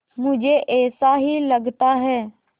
मुझे ऐसा ही लगता है